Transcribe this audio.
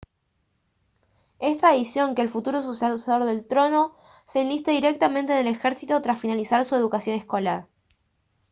es tradición que el futuro sucesor del trono se enliste directamente en el ejército tras finalizar su educación escolar